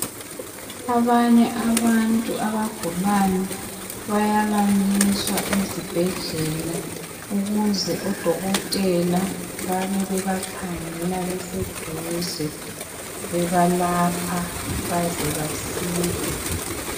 Abanye abantu abagulayo bayalaliswa ezibhedlela ukuze odokotela babebebakhangela beseduze bebalapha baze basile